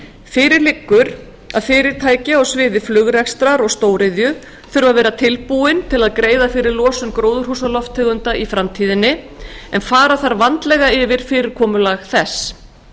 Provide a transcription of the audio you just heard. fyrir liggur að íslensk fyrirtæki á sviði flugrekstrar og stóriðju þurfa að vera tilbúin að greiða fyrir losun gróðurhúsalofttegunda í framtíðinni en fara þarf vandlega yfir fyrirkomulag þess